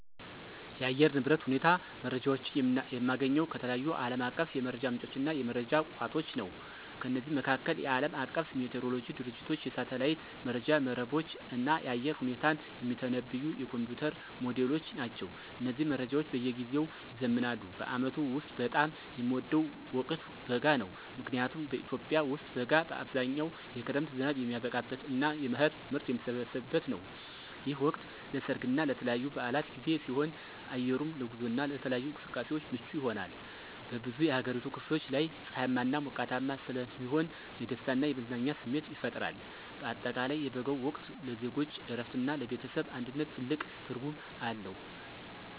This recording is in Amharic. የአየር ንብረት ሁኔታ መረጃዎችን የማገኘው ከተለያዩ ዓለም አቀፍ የመረጃ ምንጮችና የመረጃ ቋቶች ነው። ከነዚህም መካከል፦ የዓለም አቀፉ ሜትሮሎጂ ድርጅቶች፣ የሳተላይት መረጃ መረቦች፣ እና የአየር ሁኔታን የሚተነብዩ የኮምፒዩተር ሞዴሎች ናቸው። እነዚህ መረጃዎች በየጊዜው ይዘምናሉ። በዓመቱ ውስጥ በጣም የምወደው ወቅት በጋ ነው። ምክንያቱም በኢትዮጵያ ውስጥ በጋ በአብዛኛው የክረምት ዝናብ የሚያበቃበትና የመኸር ምርት የሚሰበሰብበት ነው። ይህ ወቅት ለሠርግና ለተለያዩ በዓላት ጊዜ ሲሆን፣ አየሩም ለጉዞና ለተለያዩ እንቅስቃሴዎች ምቹ ይሆናል። በብዙ የአገሪቱ ክፍሎች ላይ ፀሐያማና ሞቃታማ ስለሚሆን የደስታና የመዝናናት ስሜት ይፈጥራል። በአጠቃላይ የበጋው ወቅት ለዜጎች እረፍትና ለቤተሰብ አንድነት ትልቅ ትርጉም አለው።